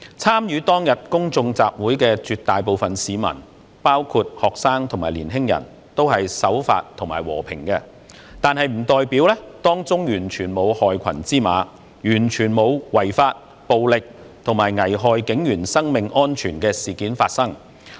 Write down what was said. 參與當天公眾集會的絕大部分市民，包括學生及年青人，都是守法和平的，但並不代表當中完全沒有害群之馬，完全沒有違法、暴力及危害警員生命安全的事件發生。